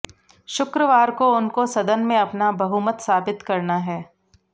शुक्रवार को उनको सदन में अपना बहुमत साबित करना है